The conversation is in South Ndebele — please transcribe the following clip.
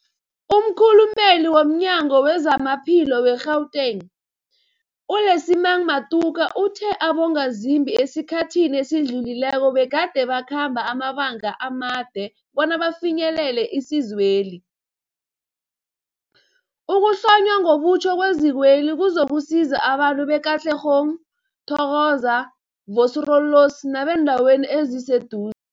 Umkhulumeli womNyango weZamaphilo we-Gauteng, u-Lesemang Matuka uthe abongazimbi esikhathini esidlulileko begade bakhamba amabanga amade bona bafinyelele isizweli. Ukuhlonywa ngobutjha kwezikweli kuzokusiza abantu be-Katlehong, Thokoza, Vosloorus nebeendawo ezisedu